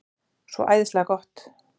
Svo æðislega gott.